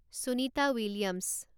Sunita Williams